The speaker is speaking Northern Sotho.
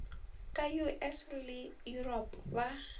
ka us le yuropa ba